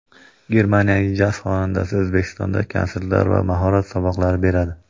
Germaniyalik jaz xonandasi O‘zbekistonda konsertlar va mahorat saboqlari beradi.